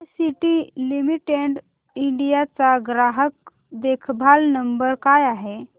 ITC limited India चा ग्राहक देखभाल नंबर काय आहे